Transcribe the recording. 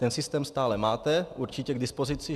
Ten systém stále máte určitě k dispozici.